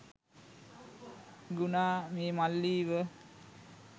ගුනා මේ මල්ලිව